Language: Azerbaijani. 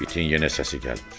İtin yenə səsi gəlmirdi.